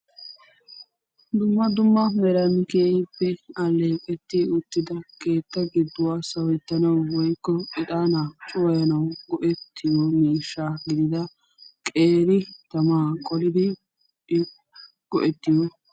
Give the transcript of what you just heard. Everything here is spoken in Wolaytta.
Dumma dumma meran keehippe tiyettidda so gidon cuwayiyo keetta giddon ho'ettiyo buquray de'ees.